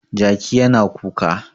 Jaki yana kuka.